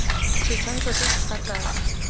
setshwantsho se se fa tlase